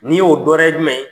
N'i y'o dɔ wɛrɛ ye jumɛn ye?